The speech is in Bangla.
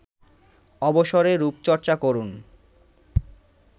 অবসরে রূপচর্চা করুন